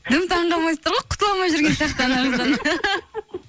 дым таңқалмай тұр ғой құтыла алмай жүрген сияқты ана қыздан